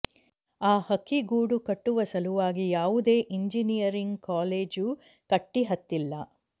ಆ ಹಕ್ಕಿ ಗೂಡು ಕಟ್ಟುವ ಸಲುವಾಗಿ ಯಾವುದೇ ಇಂಜಿನಿಯರಿಂಗ್ಕಾಲೇಜು ಕಟ್ಟಿ ಹತ್ತಿಲ್ಲ